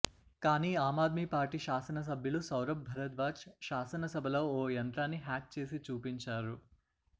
కానీ ఆమ్ ఆద్మీ పార్టీ శాసనసభ్యులు సౌరభ్ భరద్వాజ్ శాసనసభలో ఓ యంత్రాన్ని హ్యాక్ చేసి చూపించారు